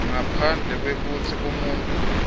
ngaphandle kwekutsi umuntfu